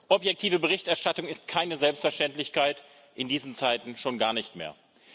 Objektive Berichterstattung ist keine Selbstverständlichkeit, in diesen Zeiten schon gar nicht mehr.